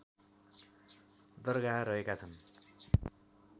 दरगाह रहेका छन्